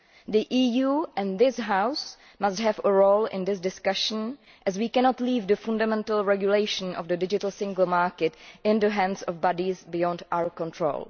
The EU and this House must have a role in this discussion as we cannot leave the fundamental regulation of the digital single market in the hands of bodies beyond our control.